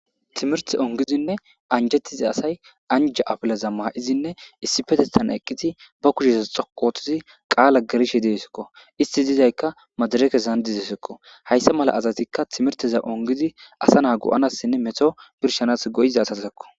Timirte ongizinne anjettiza asay anja apilaza ma'izinne issi petethan eqqiti ba kushesa xoqootizi qaala gerishe deesekko isti dizaykka madarekesandizesekko hayssa mala asatikka timirteza ongizi asa naa go'anassinne meto birshanas goyiza asasakko